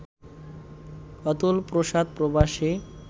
অতুল প্রসাদ প্রবাসী